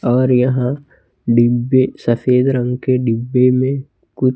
और यहां डिब्बे सफेद रंग के डिब्बे में कु--